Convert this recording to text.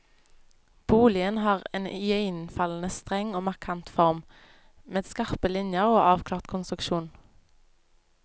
Boligen har en iøynefallende streng og markant form, med skarpe linjer og avklart konstruksjon.